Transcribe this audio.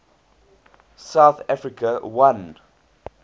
south africa won